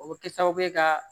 O bɛ kɛ sababu ye ka